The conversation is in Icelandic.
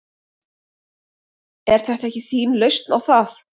Er þetta ekki þín lausn á það?